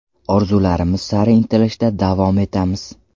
Orzularimiz sari intilishda davom etamiz.